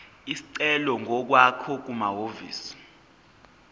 isicelo ngokwakho kumahhovisi